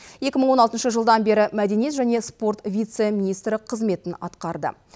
екі мың он алтыншы жылдан бері мәдениет және спорт вице министрі қызметін атқарды